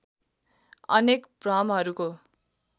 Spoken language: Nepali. अनेक भ्रमहरूको